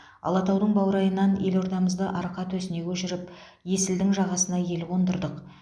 алатаудың баурайынан елордамызды арқа төсіне көшіріп есілдің жағасына ел қондырдық